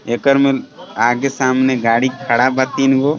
एकर में आगे सामने गाड़ी खड़ा बा तीन गो.